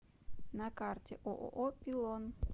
на карте ооо пилон